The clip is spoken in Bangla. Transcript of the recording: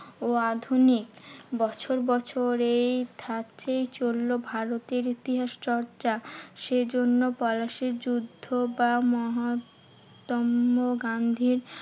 ও আধুনিক। বছর বছর এই ধাপেই চললো ভারতের ইতিহাস চর্চা। সেই জন্য পলাশীর যুদ্ধ বা মহাত্মা গান্ধীর